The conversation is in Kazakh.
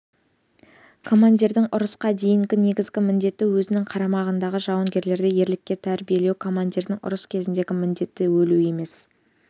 командирдің ұрысқа дейінгі негізгі міндеті өзінің қарамағындағы жауынгерлерді ерлікке тәрбиелеу командирдің ұрыс кезіндегі міндеті өлу емес